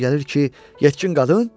Mənə elə gəlir ki, yetkin qadın.